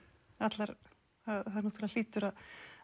það náttúrulega hlýtur að